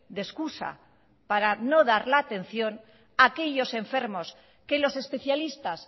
de excusa para no dar la atención aquellos enfermos que los especialistas